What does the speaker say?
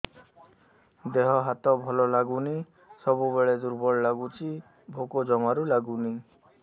ଦେହ ହାତ ଭଲ ଲାଗୁନି ସବୁବେଳେ ଦୁର୍ବଳ ଲାଗୁଛି ଭୋକ ଜମାରୁ ଲାଗୁନି